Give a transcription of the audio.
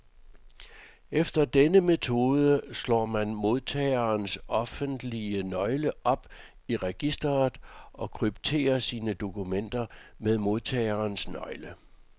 Efter denne metode slår man modtagerens offentlige nøgle op i registret, og krypterer sine dokumenter med modtagerens nøgle.